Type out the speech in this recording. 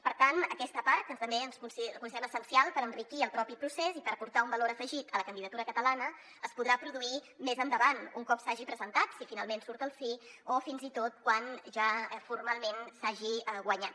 per tant aquesta part que també considerem essencial per enriquir el propi procés i per portar un valor afegit a la candidatura catalana es podrà produir més endavant un cop s’hagi presentat si finalment surt el sí o fins i tot quan ja formalment s’hagi guanyat